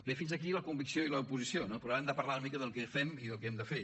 bé fins aquí la convicció i l’oposició no però ara hem de parlar una mica del que fem i del que hem de fer